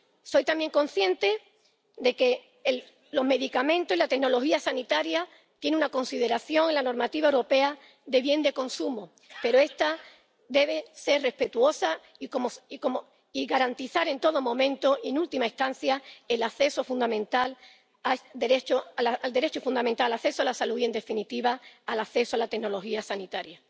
Soy también consciente de que los medicamentos y la tecnología sanitaria tienen una consideración en la normativa europea de bien de consumo, pero esta debe ser respetuosa y garantizar en todo momento, en última instancia, el derecho fundamental al acceso a la salud y, en definitiva, el acceso a la tecnología sanitaria.